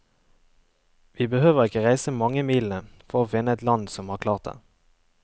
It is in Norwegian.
Vi behøver ikke reise mange milene for å finne et land som har klart det.